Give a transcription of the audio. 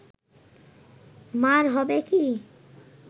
মা’র হবে কি